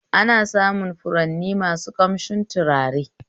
Ana samun furanni masu ƙamshin tutare